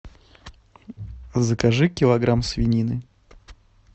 закажи килограмм свинины